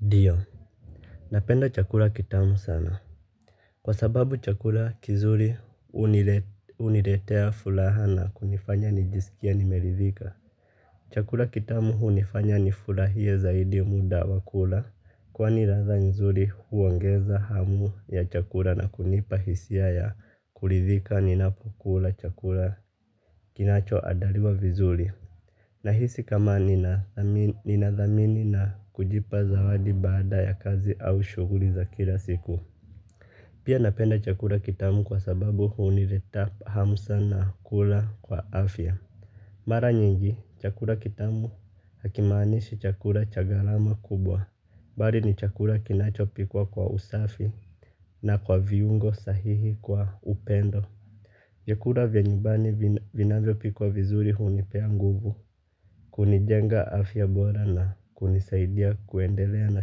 Ndio. Napenda chakula kitamu sana. Kwa sababu chakula kizuri hunile huniletea furaha na kunifanya nijisikie nimeridhika. Chakula kitamu hunifanya nifurahie zaidi muda wa kula. Kwani ladha nzuri huongeza hamu ya chakula na kunipa hisia ya kuridhika ninapokula chakula kinachoandaliwa vizuri. Nahisi kama ninadhami ninadhamini na kujipa zawadi baada ya kazi au shughuli za kila siku. Pia napenda chakula kitamu kwa sababu hunileta hamu sana kula kwa afya. Mara nyingi, chakula kitamu hakimaanishi chakula cha gharama kubwa. Bali ni chakula kinachopikwa kwa usafi na kwa viungo sahihi kwa upendo. Vyakula vya nyumbani vin vinavyopikwa vizuri hunipea nguvu. Kunijenga afya bora na kunisaidia kuendelea na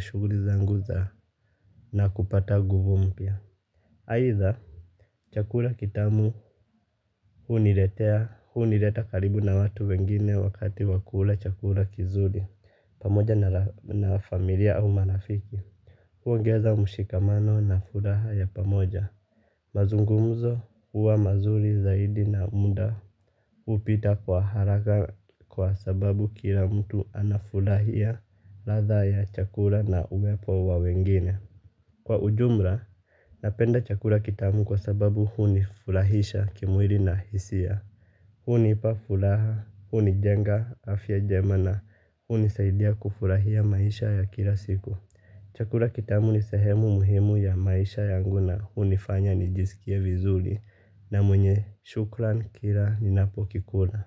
shughuli zangu za na kupata nguvu mpya. Aidha, chakula kitamu huniletea, hunileta karibu na watu wengine wakati wakula chakula kizuri, pamoja ra na familia au marafiki. Huongeza mshikamano na furaha ya pamoja. Mazungumzo huwa mazuri zaidi na muda hupita kwa haraka kwa sababu kila mtu anafurahia ladha ya chakula na uwepo wa wengine. Kwa ujumla, napenda chakula kitamu kwa sababu hunifurahisha kimwili na hisia. Hunipa furaha, hunijenga, afya njema na, hunisaidia kufurahia maisha ya kila siku. Chakula kitamu ni sehemu muhimu ya maisha yangu na hunifanya ni jisikie vizuri na mwenye shukran kila ninapokikula.